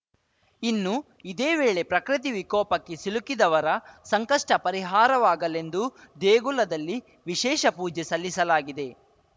ಇನ್ನು ಇದೇ ವೇಳೆ ಪ್ರಕೃತಿ ವಿಕೋಪಕ್ಕೆ ಸಿಲುಕಿದವರ ಸಂಕಷ್ಟಪರಿಹಾರವಾಗಲೆಂದು ದೇಗುಲದಲ್ಲಿ ವಿಶೇಷ ಪೂಜೆ ಸಲ್ಲಿಸಲಾಗಿದೆ